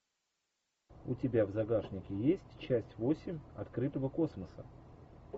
у тебя в загашнике есть часть восемь открытого космоса